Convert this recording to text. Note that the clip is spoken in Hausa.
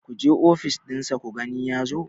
ku je ofis ɗinsa ku gani ya zo!